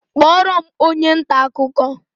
Kpọọrọ m onye nta akụkọ!